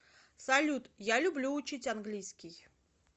салют я люблю учить английский